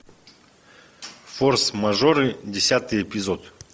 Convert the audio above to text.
форс мажоры десятый эпизод